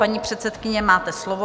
Paní předsedkyně, máte slovo.